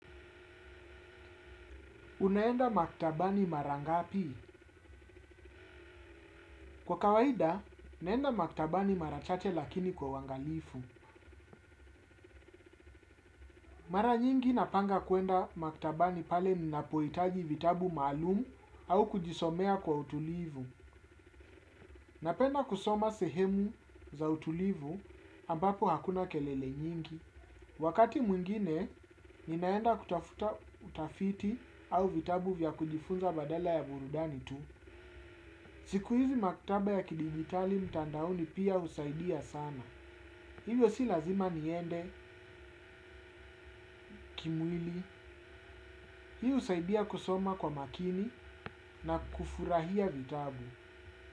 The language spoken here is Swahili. Unaenda maktabani marangapi? Kwa kawaida, naenda maktabani marachache lakini kwa uangalifu. Mara nyingi napanga kuenda maktabani pale ninapohitaji vitabu maalumu au kujisomea kwa utulivu. Napenda kusoma sehemu za utulivu ambapo hakuna kelele nyingi. Wakati mwingine, ninaenda kutafuta utafiti au vitabu vya kujifunza badala ya burudani tu. Siku hizi maktaba ya kidijitali mtandaoni pia husaidia sana. Hivyo si lazima niende kimwili husaidia kusoma kwa makini na kufurahia vitabu.